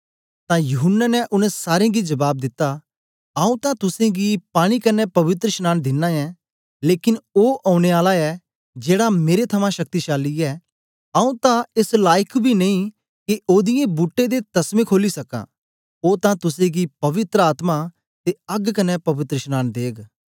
तां यूहन्ना ने उनै सारें गी जबाब दित्ता आऊँ तां तुसेंगी पानी कन्ने पवित्रशनांन दिना ऐं लेकन ओ औने आला ऐ जेड़ा मेरे थमां शक्तिमान ऐ आऊँ तां एस लाईक बी नेई के ओदीयें बूट्टें दे तसमें खोली सकां ओ तां तुसेंगी पवित्र आत्मा ते अग्ग कन्ने पवित्रशनांन देग